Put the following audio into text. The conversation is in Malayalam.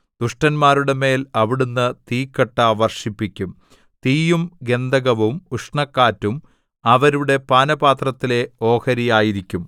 ദുഷ്ടന്മാരുടെമേൽ അവിടുന്ന് തീക്കട്ട വർഷിപ്പിക്കും തീയും ഗന്ധകവും ഉഷ്ണക്കാറ്റും അവരുടെ പാനപാത്രത്തിലെ ഓഹരിയായിരിക്കും